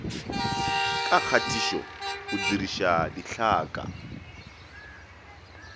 ka kgatišo o diriša ditlhaka